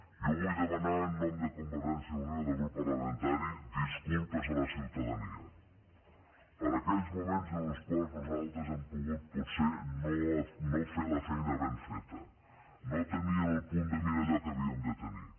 jo vull demanar en nom de convergència i unió i del grup parlamentari disculpes a la ciutadania per aquells moments en els quals nosaltres hem pogut potser no fer la feina ben feta no tenir en el punt de mira allò que havíem de tenir